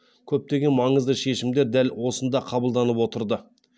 көптеген маңызды шешімдер дәл осында қабылданып отырды